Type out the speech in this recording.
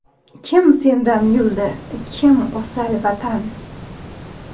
Kim sendan yuldi, Kim – o‘sal, Vatan.